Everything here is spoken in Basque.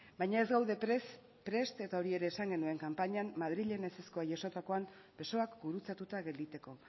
baina ez gaude prest eta hori esan genuen kanpainan madrilen ezezkoa jasotakoan besoak gurutzatuta gelditzeko